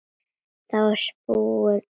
Þá er þetta búið spil.